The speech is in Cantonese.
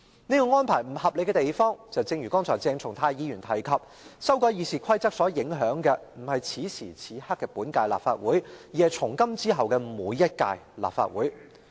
這項安排不合理之處，正如鄭松泰議員剛才提及，修改《議事規則》不僅影響本屆立法會，也影響從今以後每一屆立法會。